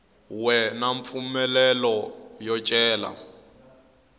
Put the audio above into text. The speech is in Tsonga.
we na mpfumelelo yo cela